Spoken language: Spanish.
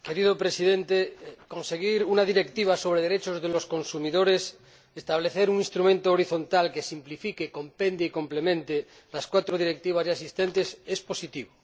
Señor Presidente, conseguir una directiva sobre derechos de los consumidores, establecer un instrumento horizontal que simplifique, compendie y complemente las cuatro directivas ya existentes es positivo.